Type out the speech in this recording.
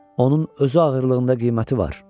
Onun özü ağırlığında qiyməti var.